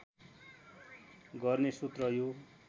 गर्ने सूत्र यो